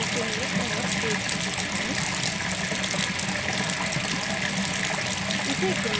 bezier tool चुनें और एक arrow बनाएं